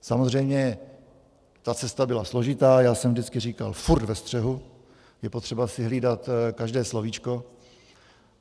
Samozřejmě ta cesta byla složitá, já jsem vždycky říkal: furt ve střehu, je potřeba si hlídat každé slovíčko.